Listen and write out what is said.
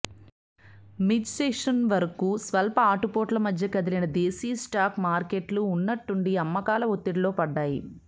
మిడ్సెషన్వరకూ స్వల్ప ఆటుపోట్ల మధ్య కదిలిన దేశీ స్టాక్ మార్కెట్లు ఉన్నట్టుండి అమ్మకాల ఒత్తిడిలో పడ్డాయి